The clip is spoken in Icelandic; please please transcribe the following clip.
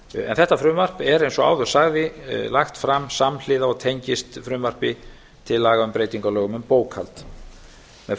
þetta frumvarp er eins og áður sagði lagt fram samhliða og tengist frumvarpi til laga um breytingu á lögum um bókhald með